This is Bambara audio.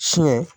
Fiɲɛ